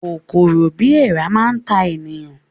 Kòkòrò bíi èèrà máa ta ènìyàn